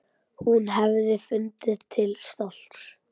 Hún hefði fundið til stolts.